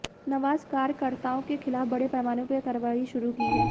नवाज कार्यकर्ताओं के खिलाफ बड़े पैमाने पर कारवाई शुरू की है